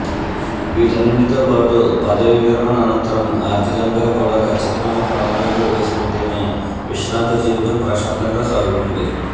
వీటన్నింటితో పాటు పదవీ విరమణ అనంతరం ఆర్ధికంగా కూడా కచ్చితమైన ప్రణాళికలు వేసుకుంటేనే విశ్రాంత జీవితం ప్రశాంతంగా సాగుతుంది